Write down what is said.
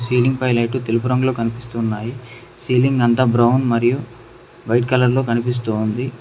Ceiling పై light తెలుపు రంగులో కనిపిస్తున్నాయి సీలింగ్ అంతా బ్రౌన్ మరియు వైట్ కలర్ లో కనిపిస్తోంది.